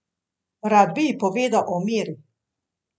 Rad bi ji povedal o Miri.